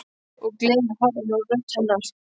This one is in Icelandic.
Og gleðin er horfin úr rödd hennar.